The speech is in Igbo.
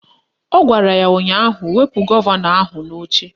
Ọ gwara ya ụnyaahụ "Wepu gọvanọ ahụ n'oche"